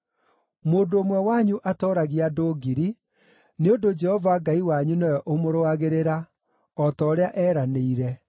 Mũndũ ũmwe wanyu atooragia andũ ngiri, Nĩ ũndũ Jehova Ngai wanyu nĩwe ũmũrũagĩrĩra, o ta ũrĩa eeranĩire.